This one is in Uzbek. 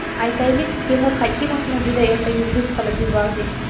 Aytaylik, Temur Hakimovni juda erta yulduz qilib yubordik.